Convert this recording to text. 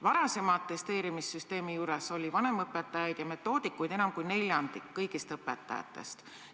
Varasema atesteerimissüsteemi ajal oli vanemõpetajaid ja metoodikuid enam kui neljandik kõigist õpetajatest.